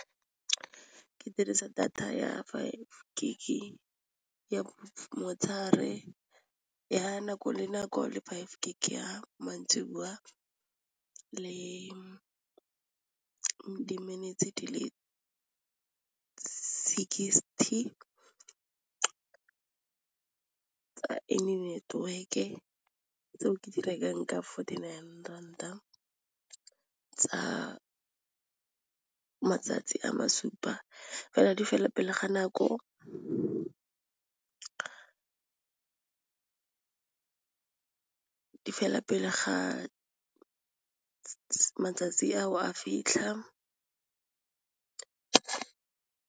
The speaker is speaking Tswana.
Ke dirisa data ya five gig ya motshegare ya nako le nako le five gig ya maitseboa le di-minutes di le sixty tsa any network-e ka tseo ke di rekang ka fourty nine ranta tsa matsatsi a masupa fela di fela pele ga nako di fela pele ga matsatsi a fitlha.